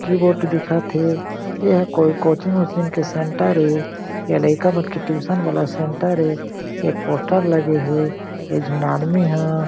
keyboard दिखत हे एहा कोई कोचिंग वॉचिंग के सेन्टर ए या लेका मन के ट्यूशन वाला सेंटर ए एक पोस्टर लगे हे एक झीन आदमी हा--